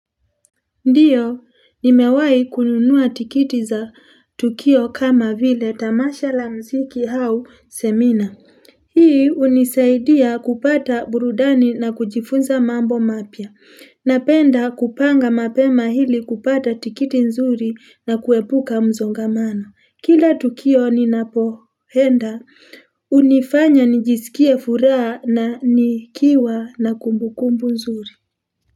Ndiyo, ni mewahi kununua tikiti za tukio kama vile tamasha la mziki au semina. Hii hunisaidia kupata burudani na kujifunza mambo mapya. Napenda kupanga mapema ili kupata tikiti nzuri na kuepuka msongamano. Kila tukio ni napoenda, hunifanya nijisikie furaha na nikiwa na kumbukumbu nzuri.